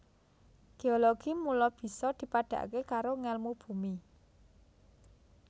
Géologi mula bisa dipadhakaké karo ngèlmu bumi